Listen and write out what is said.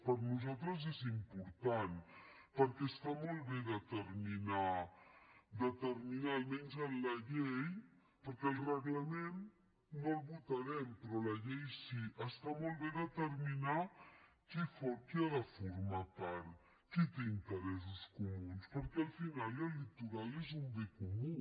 per nosaltres és important perquè està molt bé determinar almenys en la llei perquè el reglament no el votarem però la llei sí està molt bé determinar qui n’ha de formar part qui té interessos comuns perquè al final el litoral és un bé comú